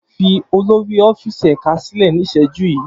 Fi olori ọfíìsì ẹka silẹ ni iṣẹju yii!